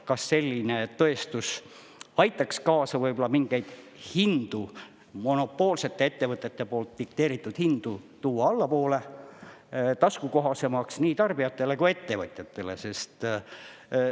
Kas selline tõestus aitaks kaasa mingeid hindu, monopoolsete ettevõtete poolt dikteeritud hindu tuua allapoole, taskukohasemaks nii tarbijatele kui ettevõtjatele?